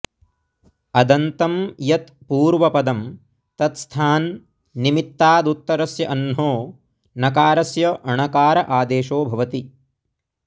अदन्तं यत् पूर्वपदं तत्स्थान् निमित्तादुत्तरस्य अह्नो नकारस्य णकार आदेशो भवति